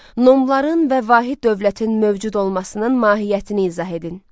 Nomların və vahid dövlətin mövcud olmasının mahiyyətini izah edin.